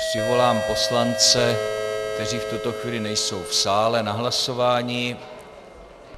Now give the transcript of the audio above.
Přivolám poslance, kteří v tuto chvíli nejsou v sále, na hlasování.